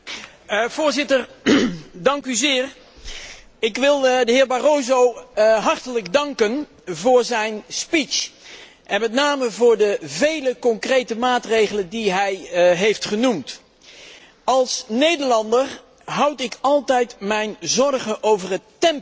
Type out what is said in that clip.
Voorzitter, ik wil de heer Barroso hartelijk danken voor zijn speech, en met name voor de vele concrete maatregelen die hij heeft genoemd. Als Nederlander houd ik altijd mijn zorgen over het tempo.